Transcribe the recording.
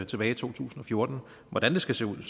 tilbage i to tusind og fjorten hvordan det skal se ud er